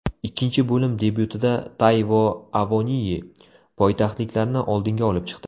Ikkinchi bo‘lim debyutida Tayvo Avoniyi poytaxtliklarni oldinga olib chiqdi.